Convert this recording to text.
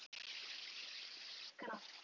Nennið þið að hinkra?